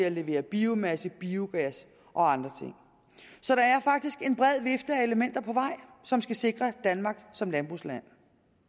at levere biomasse biogas og andre ting så der er faktisk en bred vifte af elementer på vej som skal sikre danmark som landbrugsland